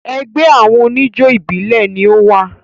Ẹgbẹ́ àwọn oníjó ìbílẹ̀ ni o wà.